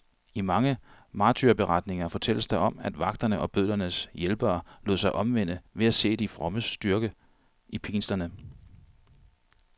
I mange martyrberetninger fortælles der om, at vagterne og bødlernes hjælpere lod sig omvende ved at se de frommes styrke i pinslerne.